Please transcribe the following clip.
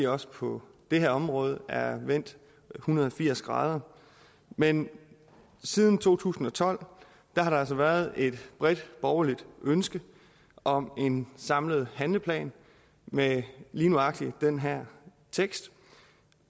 også på det her område er vendt en hundrede og firs grader men siden to tusind og tolv har der altså været et bredt borgerligt ønske om en samlet handleplan med lige nøjagtig den her tekst